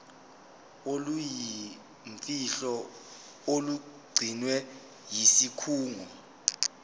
oluyimfihlo olugcinwe yisikhungo